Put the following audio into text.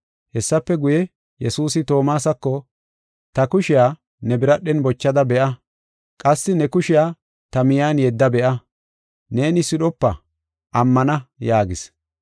Hessafe guye, Yesuusi Toomasako, “Ta kushiya ne biradhen bochada be7a. Qassi ne kushiya ta miyiyan yedda be7a. Neeni sidhopa, ammana” yaagis.